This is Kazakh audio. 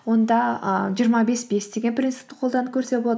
онда ы жиырма бес бес деген принципті қолданып көрсе болады